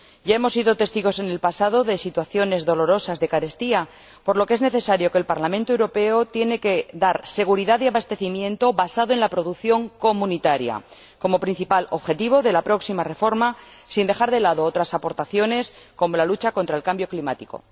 Ya hemos sido testigos, en el pasado, de situaciones dolorosas de carestía, por lo que es necesario que el Parlamento Europeo dé seguridad de abastecimiento basado en la producción comunitaria, como principal objetivo de la próxima reforma, sin dejar de lado otras aportaciones, como la lucha contra el cambio climático.